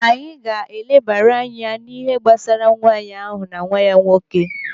Anyị ga-eleba anya n'ihe gbasara nwaanyị ahụ na nwa ya nwoke.